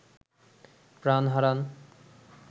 প্রাণ হারান